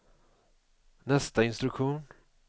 nästa instruktion